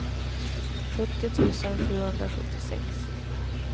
sjuttio tusen sjuhundrasjuttiosex